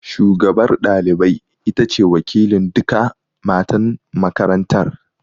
Shugabar ɗalibai ita ce wakilin duka matan makarantar